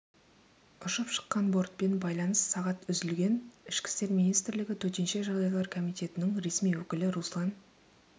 ұшып шыққан бортпен байланыс сағат үзілген ішкі істер министрлігі төтенше жағдайлар комитетінің ресми өкілі руслан